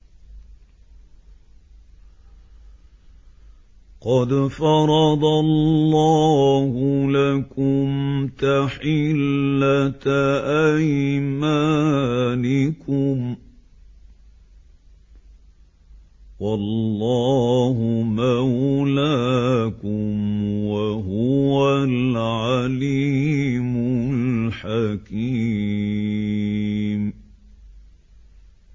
قَدْ فَرَضَ اللَّهُ لَكُمْ تَحِلَّةَ أَيْمَانِكُمْ ۚ وَاللَّهُ مَوْلَاكُمْ ۖ وَهُوَ الْعَلِيمُ الْحَكِيمُ